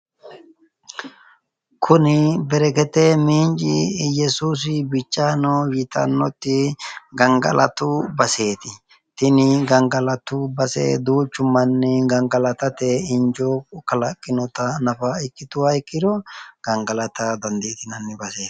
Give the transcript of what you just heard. Kuni bereket minci iyesuusi bicha nw yitannoti tini gangalatu base duuchu manni gangalatate injo kalaaqqinota nafa ikkituha ikkiro gangalata dandiitinani baseeti.